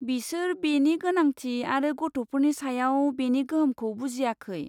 बिसोर बेनि गोनांथि आरो गथ'फोरनि सायाव बेनि गोहोमखौ बुजियाखै।